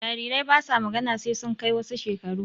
Jarirai basa magana sai sun kai wasu shekaru